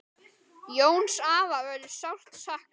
Jóns afa verður sárt saknað.